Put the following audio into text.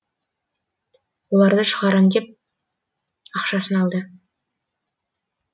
оларды шығарам деп ақшасын алды